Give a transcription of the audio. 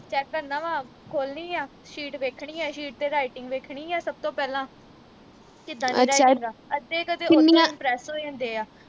check ਕਰਨਾ ਵਾ ਖੋਲਣੀ ਆ sheet ਵੇਖਣੀ ਆ sheet ਤੇ writing ਵੇਖਣੀ ਆ ਸਭ ਤੋਂ ਪਹਿਲਾਂ ਕਿੱਦਾਂ ਦੀ writing ਵਾਂ ਅੱਧੇ ਕਿ ਨਾਲ impress ਹੋ ਜਾਂਦੇ ਆ